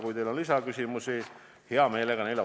Kui teil on lisaküsimusi, siis vastan hea meelega ka neile.